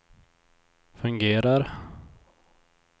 fungerar